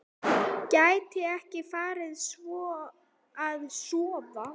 Gæti ekki farið að sofa.